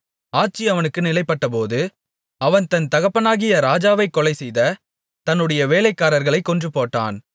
ஆட்சி அவனுக்கு நிலைப்பட்டபோது அவன் தன் தகப்பனாகிய ராஜாவைக் கொலைசெய்த தன்னுடைய வேலைக்காரர்களைக் கொன்றுபோட்டான்